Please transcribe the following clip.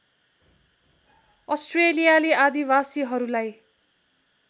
अस्ट्रेलियाली आदिवासीहरूलाई